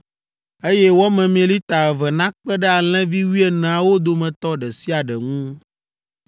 eye wɔ memee lita eve nakpe ɖe alẽvi wuieneawo dometɔ ɖe sia ɖe ŋu.